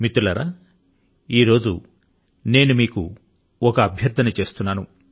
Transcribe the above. మిత్రులారా ఈ రోజు న నేను మిమ్ములను ఒకటి అభ్యర్థిస్తున్నాను